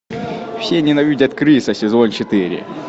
все ненавидят криса сезон четыре